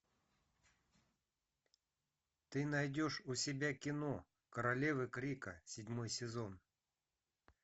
ты найдешь у себя кино королевы крика седьмой сезон